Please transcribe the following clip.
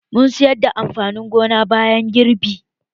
Mun sayar da amfanin gonan bayan girbi